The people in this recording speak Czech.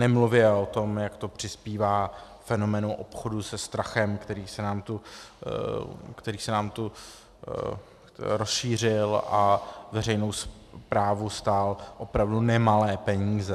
Nemluvě o tom, jak to přispívá fenoménu obchodu se strachem, který se nám tu rozšířil a veřejnou správu stál opravdu nemalé peníze.